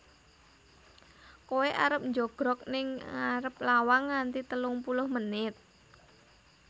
Koe arep njogrog ning arep lawang nganti telung puluh menit?